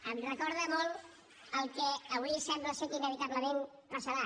em recorda molt el que avui sembla que inevitablement passarà